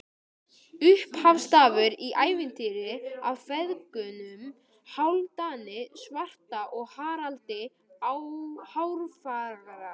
Upphafsstafur í ævintýri af feðgunum Hálfdani svarta og Haraldi hárfagra.